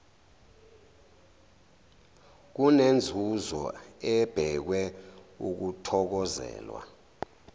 kunenzuzo ebhekwe ukuthokozelwa